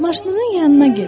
Maşının yanına get.